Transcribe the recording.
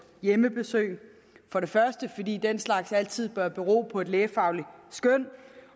hjemmebesøg for det første fordi den slags altid bør bero på et lægefagligt skøn